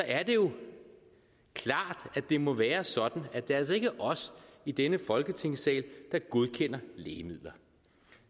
er det jo klart at det må være sådan at det altså ikke er os i denne folketingssal der godkender lægemidler